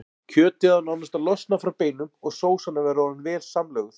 Kjötið á nánast að losna frá beinum og sósan að vera orðin vel samlöguð.